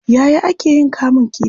Yaya ake yin kamun kifii?